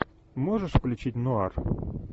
можешь включить нуар